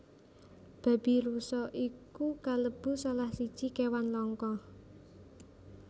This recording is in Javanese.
Babirusa iku kalebu salah siji kewan langka